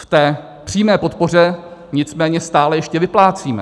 V té přímé podpoře nicméně stále ještě vyplácíme.